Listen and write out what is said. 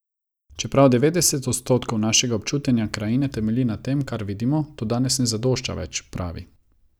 Čeprav devetdeset odstotkov našega občutenja krajine temelji na tem, kar vidimo, to danes ne zadošča več, pravi.